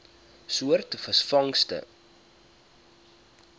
soort visvangste